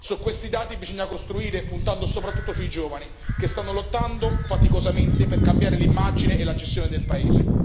Su questi dati bisogna costruire puntando soprattutto sui giovani, che stanno lottando faticosamente per cambiare l'immagine e la gestione del paese.